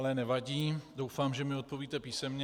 Ale nevadí, doufám, že mi odpovíte písemně.